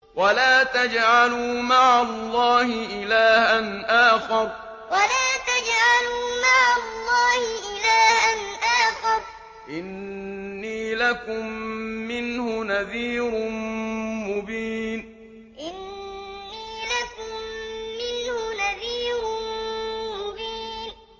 وَلَا تَجْعَلُوا مَعَ اللَّهِ إِلَٰهًا آخَرَ ۖ إِنِّي لَكُم مِّنْهُ نَذِيرٌ مُّبِينٌ وَلَا تَجْعَلُوا مَعَ اللَّهِ إِلَٰهًا آخَرَ ۖ إِنِّي لَكُم مِّنْهُ نَذِيرٌ مُّبِينٌ